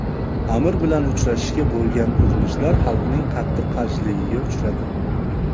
Amir bilan uchrashishga bo‘lgan urinishlar xalqning qattiq qarshiligiga uchradi.